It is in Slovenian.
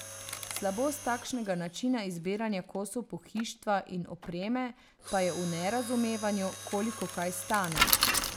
Slabost takšnega načina izbiranja kosov pohištva in opreme pa je v nerazumevanju, koliko kaj stane.